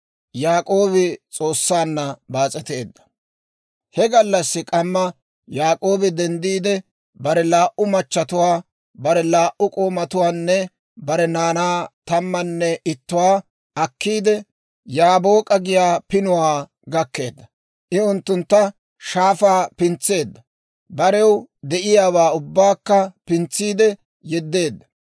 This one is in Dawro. He gallassi k'amma Yaak'oobi denddiide, bare laa"u machatuwaa, bare laa"u k'oomatuwaanne bare naanaa tammanne ittatuwaa akkiidde, Yaabook'a giyaa pinuwaa gakkeedda; I unttuntta shaafaa pintseedda; barew de'iyaawaa ubbaakka pintsiide yeddeedda;